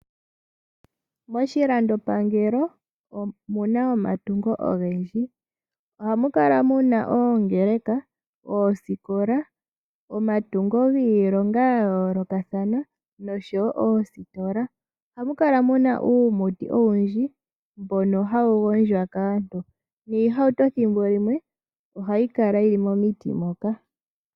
Moshilandopangelo omu na omatungo ogendji ohamu kala mu na omatungo ogendji ngaashi oongeleka, oosikola omatungi giilonga ya lokathana oshowo oositola. Ohamu kala mu na uumuti owundji mboka hawu gondjwa kaantu noshowo oohauto thimbo limwe omo hadhi kala.